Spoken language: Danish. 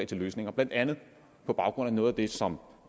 til løsninger blandt andet på baggrund af noget af det som